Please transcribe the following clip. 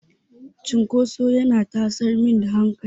Cinkoso yana tasar min da hankali.